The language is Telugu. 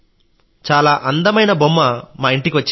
చాలా అందమైన బొమ్మ మా ఇంటికి వచ్చింది